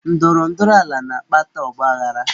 Ndọrọ ndọrọ ala na-akpata ọgbaaghara.